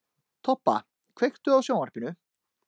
Tobba, kveiktu á sjónvarpinu.